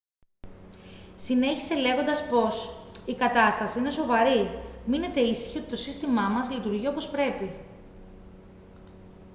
συνέχισε λέγοντας πως «η κατάσταση είναι σοβαρή. μείνετε ήσυχοι ότι το σύστημά μας λειτουργεί όπως πρέπει»